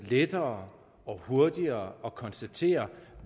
lettere og hurtigere at konstatere